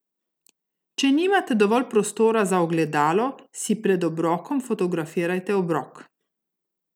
Če nimate dovolj prostora za ogledalo, si pred obrokom fotografirajte obrok.